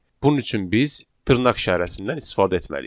Bunun üçün biz dırnaq işarəsindən istifadə etməliyik.